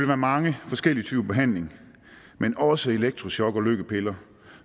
være mange forskellige typer behandling men også elektrochok og lykkepiller